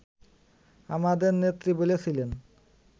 আমাদের নেত্রী বলেছিলেন